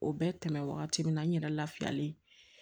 O bɛ tɛmɛ wagati min na n yɛrɛ lafiyalen